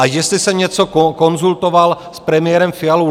A jestli jsem něco konzultoval s premiérem Fialou?